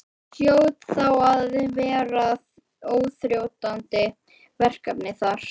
Það hljóta þá að vera óþrjótandi verkefni þar?